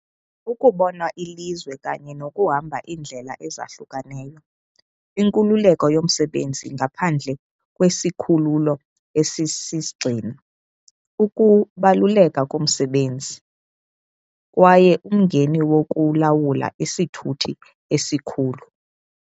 Ukubona ilizwe kanye nokuhamba iindlela ezahlukeneyo, inkululeko yomsebenzi ngaphandle kwesikhululo esisisigxina, ukubaluleka komsebenzi kwaye umngeni wokulawula isithuthi esikhulu.